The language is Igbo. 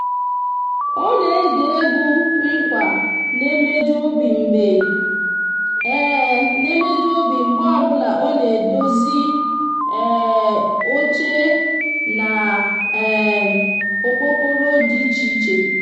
o n'ege egwu nkwa n'emeju obi mgbe n'emeju obi mgbe obula o n'edozi um oche na um okpokoro di iche iche